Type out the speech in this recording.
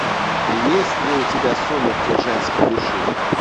есть ли у тебя сумерки женской души